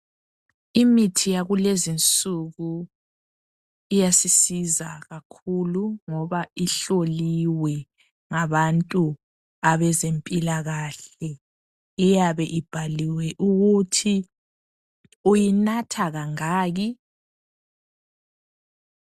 Imithi yakulezi insuku iyasiza kakhulu ngoba ihloliwe ngabezempilakahle. Iyabe ibhaliwe ukuthi uyinatha kangaki.